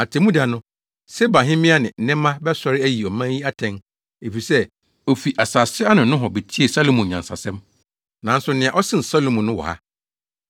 Atemmuda no, Sebahemmea ne nnɛmma bɛsɔre ayi ɔman yi atɛn efisɛ ofi asase ano nohɔ betiee Salomo nyansa nsɛm. Nanso nea ɔsen Salomo no wɔ ha.